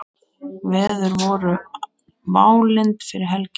Veður voru válynd fyrir helgi.